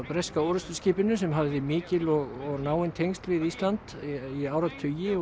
breska sem hafði mikil og náin tengsl við Ísland í áratugi